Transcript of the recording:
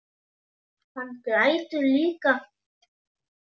Hann grætur líka.